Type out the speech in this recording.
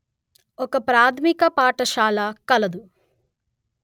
ఒక ప్రాథమిక పాఠశాల కలదు